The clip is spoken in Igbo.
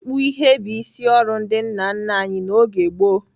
Ịkpụ ihe bụ isi ọrụ ndị nna nna anyị n'oge gboo.